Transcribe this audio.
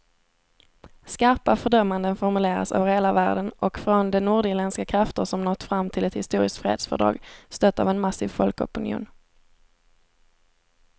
Skarpa fördömanden formuleras över hela världen och från de nordirländska krafter som nått fram till ett historiskt fredsfördrag, stött av en massiv folkopinion.